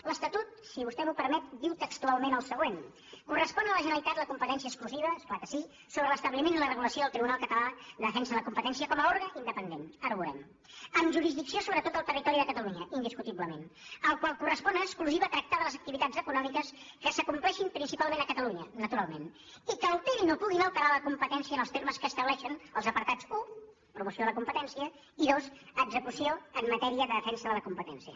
l’estatut si vostè m’ho permet diu textualment el següent correspon a la generalitat la competència exclusiva és clar que sí sobre l’establiment i la regulació del tribunal català de defensa de la com·petència com a òrgan independent ara ho veurem amb jurisdicció sobre tot el territori de catalunya indiscutiblement al qual correspon en exclusiva tractar de les activitats econòmiques que s’acomplei·xin principalment a catalunya naturalment i que alterin o puguin alterar la competència en els termes que estableixen els apartats un promoció de la com·petència i dos execució en matèria de defensa de la competència